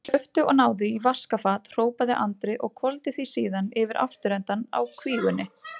Hlauptu og náðu í vaskafat, hrópaði Andri og hvolfdi því síðan yfir afturendann á kvígunni.